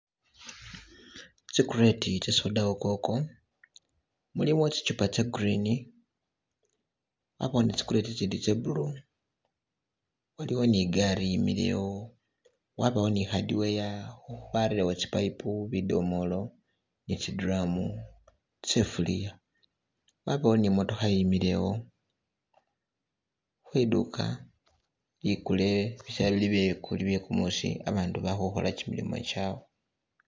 Tsi crate tse soda wo koko mulimo zichupa za green habawo ni zi crate zindi za blue waliwo ni gaari yimile wo wabawo ni hardware barelewo zi payipu, bidomolo ni zi drum, zi sifulia wabawo ni mootokha yimile wo khwiduuka ligule bisela byegumusi abandu bali khukola gimilimo gyawe.